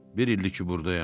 Bir ildir ki, burdayam.